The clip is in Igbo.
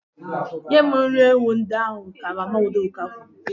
Nye m nri ewu ndị ahụ, ka Mama Udoka kwuru.